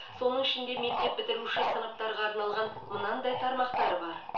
соның ішінде мектеп бітіруші сыныптарға арналған мынандай тармақтары бар